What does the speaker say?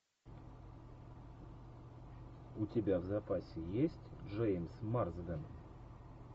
у тебя в запасе есть джеймс марсден